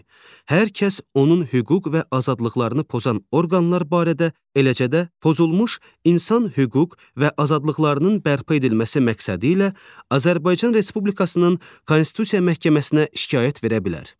hər kəs onun hüquq və azadlıqlarını pozan orqanlar barədə, eləcə də pozulmuş insan hüquq və azadlıqlarının bərpa edilməsi məqsədilə Azərbaycan Respublikasının Konstitusiya məhkəməsinə şikayət verə bilər.